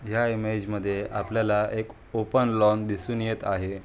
या इमेज मध्ये आपल्याला एक ओपन लॉन दिसून येत आहे.